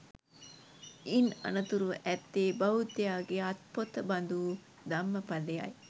ඉන් අනතුරුව ඇත්තේ බෞද්ධයාගේ අත්පොත බඳු වූ ධම්මපදය යි